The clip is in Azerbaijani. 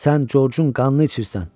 Sən Corcun qanını içirsən.